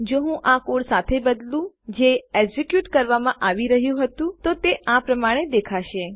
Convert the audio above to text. જો હું આ કોડ સાથે બદલું જે એક્ઝિક્યુટ કરવામાં આવી રહ્યું હતું તો તે આ પ્રમાણે દેખાશે